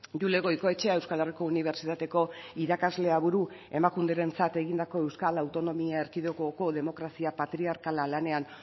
jule goikoetxea euskal herriko unibertsitateko irakaslea buru emakunderentzat egindako euskal autonomia erkidegoko demokrazia patriarkala lanean